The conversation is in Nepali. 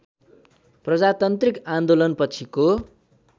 प्रजातान्त्रिक आन्दोलन पछिको